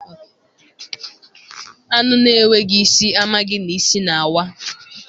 Anụ na-enweghị isi amaghị na isi na-awa